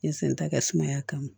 N ye senta kɛ sumaya kama